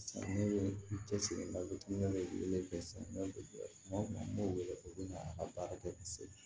Ne ye n cɛsiri n ka dumuni kɛlen tɛ sɛnɛ kuma wɛrɛ u bɛ na a ka baara kɛ se